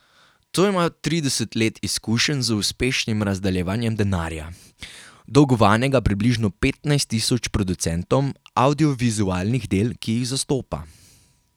To ima trideset let izkušenj z uspešnim razdeljevanjem denarja, dolgovanega približno petnajst tisoč producentom avdiovizualnih del, ki jih zastopa.